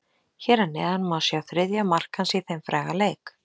Hér að neðan má sjá þriðja mark hans í þeim fræga leik.